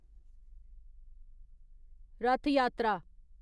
रथा यात्रा